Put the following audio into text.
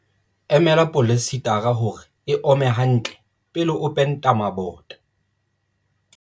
Emela poleisetara hore e ome hantle pele o penta mabota.